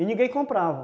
E ninguém comprava.